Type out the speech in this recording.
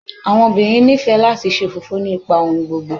Àwọn òbirin nife láti ṣe ofọ́fọ́ nipa ohùn gbogbo